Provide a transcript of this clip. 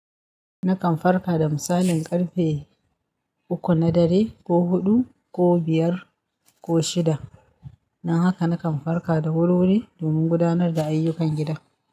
Nakan farka da misalin ƙarfe uku na dare, ko huɗu, ko biyar ko shida. Dan haka nakan farka da wuri-wuri domin gudanar da ayyukan gida.